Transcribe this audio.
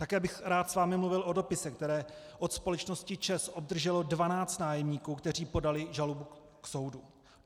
Také bych rád s vámi mluvil o dopise, který od společnosti ČEZ obdrželo 12 nájemníků, kteří podali žalobu k soudu.